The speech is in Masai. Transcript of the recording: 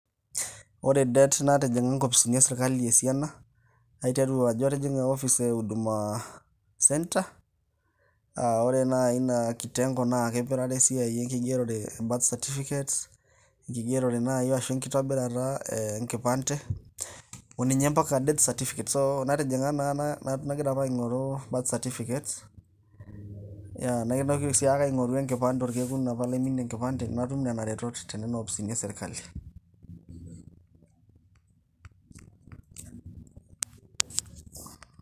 Ore det natijinga inkopisini esirkali esiana naiteru ajo atijinga inkopisini euduma center ore naai ina kitengo naa kipirare esiai enkigerore e birth certificates enkigerore naai enkipande ompaka death certificates nagira apa aing'oru birth certificates naitoki siake aing'oru enkipande orkekun apa naiturayie enkipande natum nena retot toonkopisini esirkali